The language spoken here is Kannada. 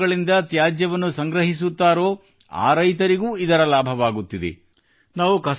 ಯಾರ ಹೊಲಗಳಿಂದ ತ್ಯಾಜ್ಯವನ್ನು ಸಂಗ್ರಹಿಸುತ್ತಾರೋ ಆ ರೈತರಿಗೂ ಇದರ ಲಾಭವಾಗುತ್ತಿದೆ